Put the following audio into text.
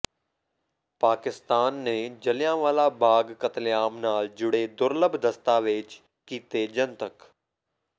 ਪਾਕਿਸਤਾਨ ਨੇ ਜਲ੍ਹਿਆਂਵਾਲਾ ਬਾਗ਼ ਕਤਲੇਆਮ ਨਾਲ ਜੁੜੇ ਦੁਰਲੱਭ ਦਸਤਾਵੇਜ਼ ਕੀਤੇ ਜਨਤਕ